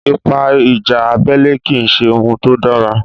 Ipa ìjà abẹ́lé kì í ṣe ohun tó dára.